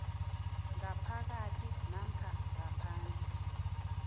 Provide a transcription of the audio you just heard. ngaphakathi namkha ngaphandle